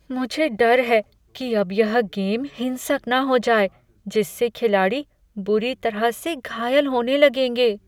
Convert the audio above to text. मुझे डर है कि अब यह गेम हिंसक न हो जाए जिससे खिलाड़ी बुरी तरह से घायल होने लगें।